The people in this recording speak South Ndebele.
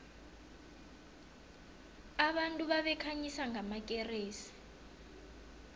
abantu babekhanyisa ngamakeresi